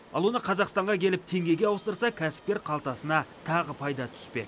ал оны қазақстанға келіп теңгеге ауыстырса кәсіпкер қалтасына тағы пайда түспек